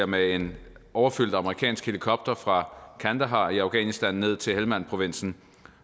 med en overfyldt amerikansk helikopter fra kandahar i afghanistan og ned til helmandprovinsen